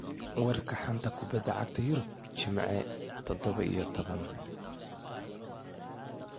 Wararka xanta kubada cagta Yurub Jimce tadhawo iyo tobaan